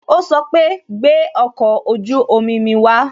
O sọ pé "gbẹ ọkọ ojú omi mi wa